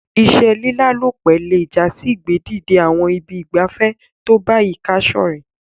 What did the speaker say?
Ìse lílálòpẹ́ le jasí ìgbé dìde àwon ibi ìgbafé to bayika sorẹ́